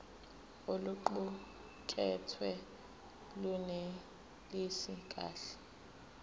oluqukethwe lunelisi kahle